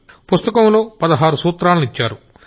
ఆవిడా పుస్తకంలో పదహారు సూత్రాల్ని ఇచ్చారు